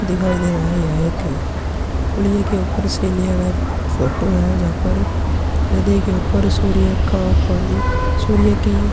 दिखाई दे रही है। एक पुड़िया के ऊपर से लिया गया फोटो है जहां पर नदी के ऊपर सूर्य का पानी सूर्य कि --